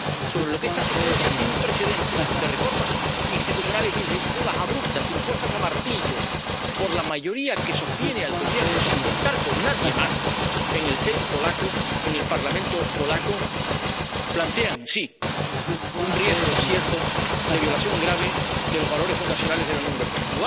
sobre los que esta secuencia sin precedentes de reformas institucionales y legislativas abruptas, impuestas a martillo por la mayoría que sostiene al Gobierno sin contar con nadie más en el Sejm polaco —en el Parlamento polaco—, plantean, sí, un riesgo cierto de violación grave de los valores fundacionales de la Unión Europea.